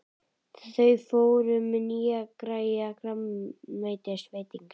Þau fóru á nýjan grænmetisveitingastað.